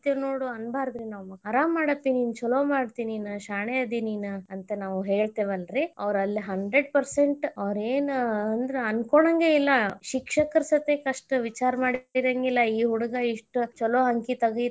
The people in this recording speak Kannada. ಹೊಡಿತೇವ ನೋಡ್ ಅನ್ಬರ್ದ್ರೀ ನಾವ್ ಆರಾಮ್ ಮಾಡಪ್ಪಿ ನಿನ ಚೊಲೊ ಮಾಡತಿ ನೀನ್ ಶಾಣೆ ಅದಿ ನೀನ್ ಅಂತ ನಾವ್ ಹೇಳ್ತೆವೆಲ್ಲರಿ ಅವ್ರ ಅಲ್ಲೇ hundred percent ಅವ್ರ ಯೇನ ಅಂದ್ರ ಅನ್ಕೋಳಂಗಿಲ್ಲ ಶಿಕ್ಷಕರ ಸತೇಕ ಅಷ್ಟ ವಿಚಾರ ಮಾಡ್ತೀರಂಗಿಲ್ಲಾ ಈ ಹುಡುಗಾ ಇಷ್ಟ ಚೊಲೊ ಅಂಕಿ.